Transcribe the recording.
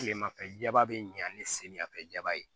Tilemafɛba bɛ ɲan ni samiyɛfɛba ye